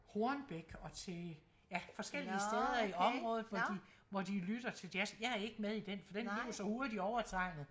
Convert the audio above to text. Hornbæk og til ja forskellige steder området hvor de hvor de lytter til jazz jeg er ikke med i den for den blev så hurtigt overtrænget